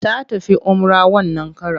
Ta tafi umrah wannan karon.